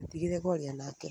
Ndũgeetigĩre kũaria nake